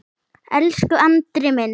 Elsku Andri minn.